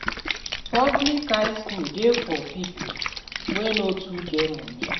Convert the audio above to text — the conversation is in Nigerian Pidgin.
Public high school de for pipo wey no too get money